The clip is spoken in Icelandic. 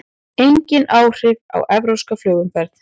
Engin áhrif á evrópska flugumferð